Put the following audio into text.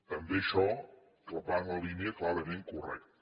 també això va en la línia clarament correcta